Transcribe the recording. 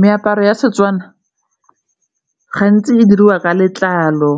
Meaparo ya Setswana gantsi di diriwa ka letlalo